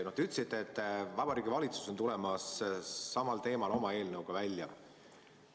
Te ütlesite, et Vabariigi Valitsus on samal teemal oma eelnõuga välja tulemas.